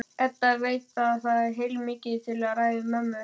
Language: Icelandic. Edda veit að það er heilmikið til í ræðu mömmu.